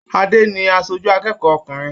Ade ni aṣoju akẹ́kọ̀ọ́ ọkùnrin.